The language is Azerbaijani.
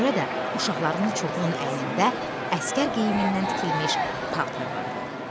Buna görə də uşaqlarının çoxunun əynində əsgər geyimindən tikilmiş paltar vardı.